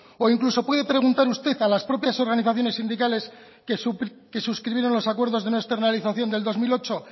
o incluso puede preguntar usted a las propias organizaciones sindicales que suscribieron los acuerdos de no externalización del dos mil ocho